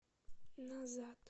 назад